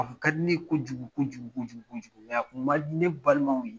A kun ka di ne ye kojugu kojugu kojugu kojugu ya kun man di ne balimaw ye